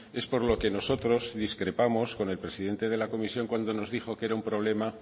es por lo que nosotros discrepamos con el presidente de la comisión cuando nos dijo que era un problema